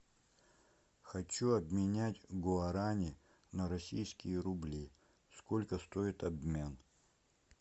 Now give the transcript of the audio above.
хочу обменять гуарани на российские рубли сколько стоит обмен